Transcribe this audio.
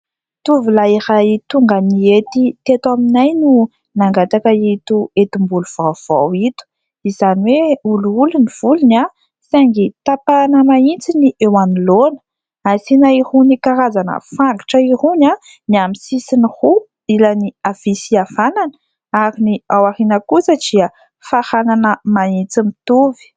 Tovolahy iray tonga nihety teto aminay no nangataka ito hetim-bolo vaovao ito, izany hoe olioly ny volony saingy tapahana mahitsy ny eo anoloana, asiana irony karazana fangotra irony ny amin'ny sisiny roa, ilany havia sy havanana ary ny ao aoriana kosa dia faranana mahitsy mitovy.